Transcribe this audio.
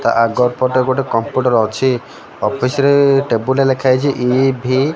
ତା ଆଗପଟେ ଗୋଟେ କମ୍ପ୍ୟୁଟର ଅଛି ଅଫିସ ରେ ଟେବୁଲ ରେ ଲେଖାହେଇଛି ଇ ଭି ।